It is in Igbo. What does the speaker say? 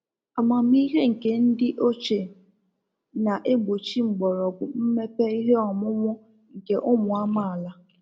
Amamihe nke ndị oche, na egbochi mgbọrọgwụ mmepe ihe ọmụmụ nke ụmụ amaala